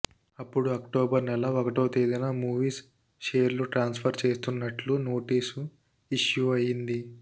అప్పుడు అక్టోబర్ నెల ఒకటో తేదీన మావిస్ షేర్లు ట్రాన్సుఫర్ చేస్తున్నట్లు నోటీసు ఇష్యూ అయింది